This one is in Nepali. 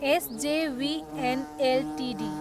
SJVN Ltd